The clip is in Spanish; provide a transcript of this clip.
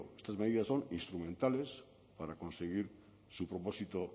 estas medidas son instrumentales para conseguir su propósito